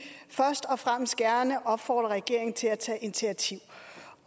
først og fremmest gerne opfordre regeringen til at tage initiativ